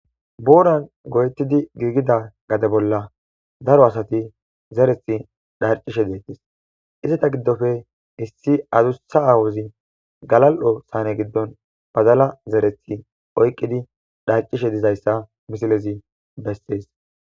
booran goyettidi giigida gade bolla daro asati zerethi dharcishe deettes isata giddofe issi azussa aawuzi galal7o saane giddon bazala zerethi oyqqidi dharcishe dizayssa misilezi bessees